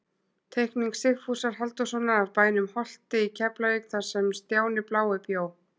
Teikning Sigfúsar Halldórssonar af bænum Holti í Keflavík þar sem Stjáni blái bjó.